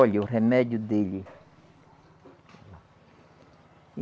Olha, o remédio dele.